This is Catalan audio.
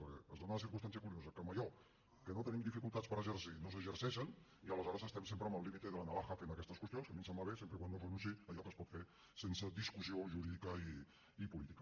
perquè es dona la circumstància curiosa que en allò en que no tenim dificultats per exercir no s’exerceixen i aleshores estem sempre en el límite de la navaja fent aquestes qüestions que a mi em sembla bé sempre que no es renunciï a allò que es pot fer sense discussió jurídica i política